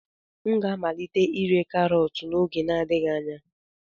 M ga-amalite ire karọt n'oge adịghị anya.